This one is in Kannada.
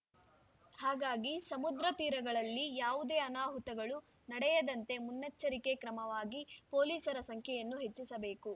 ಹಾಗಾಗಿ ಸಮುದ್ರ ತೀರಗಳಲ್ಲಿ ಯಾವುದೇ ಅನಾಹುತಗಳು ನಡೆಯದಂತೆ ಮುನ್ನೆಚ್ಚರಿಕೆ ಕ್ರಮವಾಗಿ ಪೊಲೀಸರ ಸಂಖ್ಯೆಯನ್ನು ಹೆಚ್ಚಿಸಬೇಕು